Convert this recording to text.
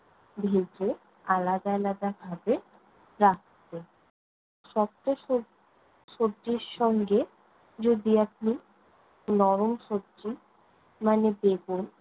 ভেজে আলাদা আলাদা ভাবে রাখতে। শক্ত সব~ সবজির সঙ্গে যদি আপনি নরম সবজি মানে বেগুন